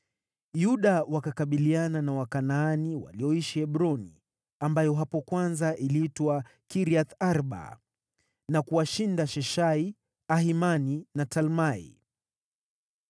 Yuda wakakabiliana na Wakanaani walioishi Hebroni (ambayo hapo kwanza iliitwa Kiriath-Arba) na kuwashinda Sheshai, Ahimani na Talmai.